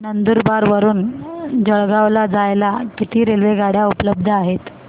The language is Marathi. नंदुरबार वरून जळगाव ला जायला किती रेलेवगाडया उपलब्ध आहेत